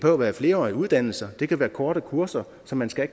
at være flerårige uddannelser det kan være korte kurser som man skal